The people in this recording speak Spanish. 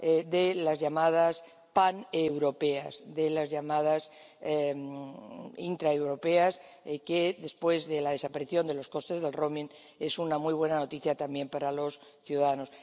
de las llamadas paneuropeas, de las llamadas intraeuropeas, lo que, después de la desaparición de los costes del roaming es una muy buena noticia también para los ciudadanos.